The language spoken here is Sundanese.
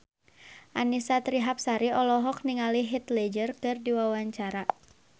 Annisa Trihapsari olohok ningali Heath Ledger keur diwawancara